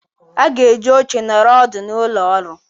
A ga-eji oche nọrọ ọdụ n'ụlọ ọrụ.